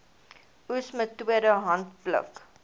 oes metode handpluk